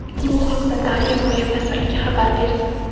Bu haqda Daniya Moliya vazirligi xabar berdi .